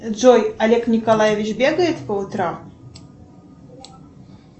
джой олег николаевич бегает по утрам